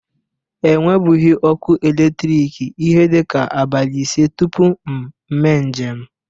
E nwebughi ọkụ eletriki ihe dịka abalị ise tupu m mee njem.